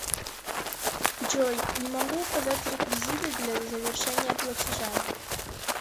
джой не могу указать реквизиты для завершения платежа